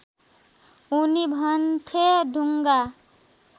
उनी भन्थे ढुङ्गा